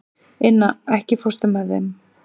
Inna, ekki fórstu með þeim?